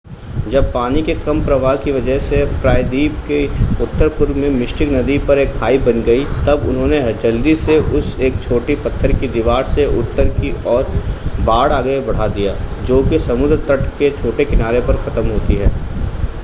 जब पानी के कम प्रवाह की वजह से प्रायद्वीप के उत्तर-पूर्व में मिस्टिक नदी पर एक खाई बन गई तब उन्होंने जल्दी से उस एक छोटी पत्थर की दीवार से उत्तर की ओर बाड़ आगे तक बढ़ा दिया जो कि समुद्र तट के छोटे किनारे पर खत्म होती है